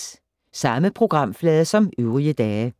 Samme programflade som øvrige dage